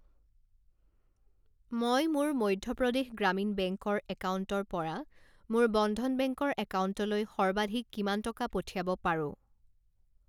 মই মোৰ মধ্য প্ৰদেশ গ্ৰামীণ বেংক ৰ একাউণ্টৰ পৰা মোৰ বন্ধন বেংক ৰ একাউণ্টলৈ সৰ্বাধিক কিমান টকা পঠিয়াব পাৰো?